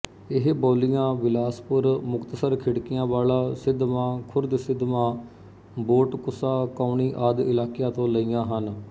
ਇਹ ਬੋਲੀਆਂ ਬਿਲਾਸਪੁਰ ਮੁਕਤਸਰਖਿੜਕੀਆਂ ਵਾਲਾ ਸਿੱਧਵਾਂ ਖੁਰਦਸਿੱਧਵਾਂ ਬੋਟਕੁੱਸਾ ਕਾਉਣੀ ਆਦਿ ਇਲਾਕਿਆਂ ਤੋ ਲਈਆ ਹਨ